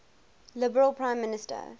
liberal prime minister